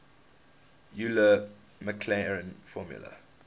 euler maclaurin formula